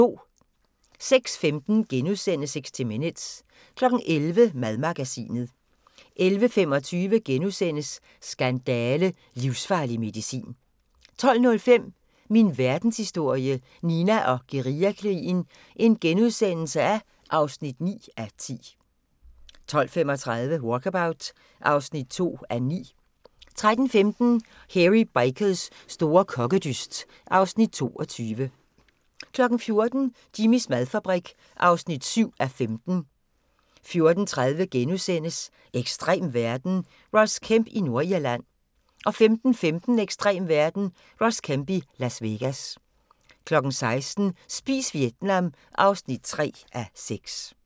06:15: 60 Minutes * 11:00: Madmagasinet 11:25: Skandale – livsfarlig medicin * 12:05: Min Verdenshistorie – Nina og guerillakrigen (9:10)* 12:35: Walkabout (2:9) 13:15: Hairy Bikers store kokkedyst (Afs. 22) 14:00: Jimmys madfabrik (7:15) 14:30: Ekstrem verden – Ross Kemp i Nordirland * 15:15: Ekstrem verden – Ross Kemp i Las Vegas 16:00: Spis Vietnam (3:6)